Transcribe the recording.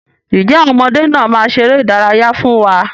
Ǹjẹ́ àwọn ọmọdé náà máa ṣeré ìdárayá fún wa?